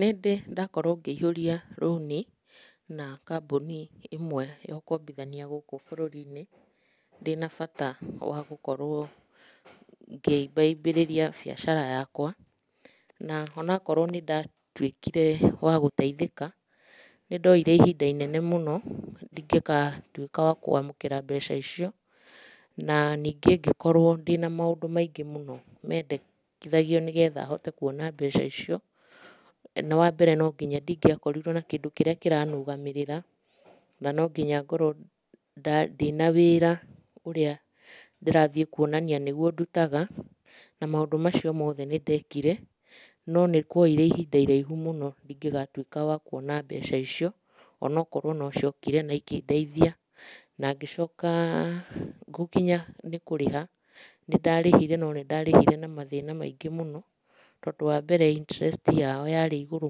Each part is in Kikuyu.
Nĩndĩ ndakorwo ngĩihũria rũũni na kambũni imwe ya ũkombithania gũkũ bũrũrinĩ, ndĩ na bata wa gũkorwo ngĩimbaimbĩrĩria biacara yakwa. Na onakorwo nĩndatuĩkire wa gũteithĩka, nĩndoire ihinda inene mũno ndingĩkatuĩka wa kwamũkĩra mbeca icio, na nĩngĩ ngĩkorwo ndĩ na maũndũ maingĩ mũno mendekithagio nĩgetha hote kuona mbeca icio. Wa mbere no ngĩnya ndingĩakorirwo na kĩndũ kĩrĩa kĩranũgamĩrĩra, na nonginya ngorwo ndĩ na wĩra ũrĩa ndĩrathiĩ kuonania nĩguo ndutaga. Na maũndũ macio mothe nĩndekire, no nĩkuoire ihinda iraihu mũno ndingĩgatuĩka wa kuona mbeca icio, onokorwo nociokire na ikĩndeithia. Na ngĩcoka gũkinya nĩ kũrĩha, nĩndarĩhire no nĩndarĩhire na mathĩna maingĩ mũno. Tondũ wa mbere, interest yao yarĩ igũrũ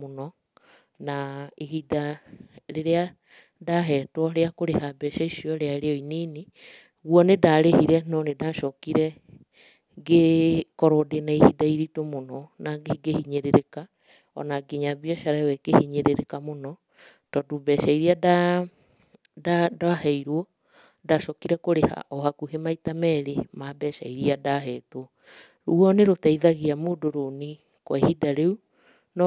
mũno, na ihinda rĩrĩa ndahetwo rĩa kũrĩha mbeca icio rĩarĩ o inini. Guo nĩndarĩhire, no nĩndacokire ngĩkorwo ndĩ na ihinda iritũ mũno na ngĩhinyĩrĩrĩka, ona nginya biacara ĩo ĩkĩhinyĩrĩrĩka mũno. Tondũ mbeca iria ndaheirwo, ndacokire kũrĩha o hakuhi maita merĩ ma mbeca iria ndahetwo. Guo nĩrũteithagia mũndũ rũũni, kwa ihinda rĩu no.